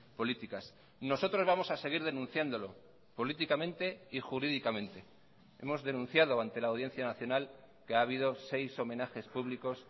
políticas nosotros vamos a seguir denunciándolo políticamente y jurídicamente hemos denunciado ante la audiencia nacional que ha habido seis homenajes públicos